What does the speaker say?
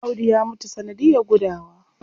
Audu ya mutu sanadiyar gudawa.